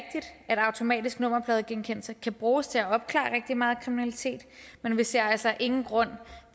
at automatisk nummerpladegenkendelse kan bruges til at opklare rigtig meget kriminalitet men vi ser altså ingen grund